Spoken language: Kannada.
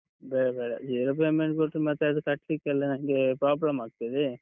ಬೇಡ ಬೇಡ, zero payment ಕೊಟ್ರೆ, ಮತ್ತೆ ಅದು ಕಟ್ಲಿಕ್ಕೆಲ್ಲ ನಂಗೆ problem ಆಗ್ತದೆ.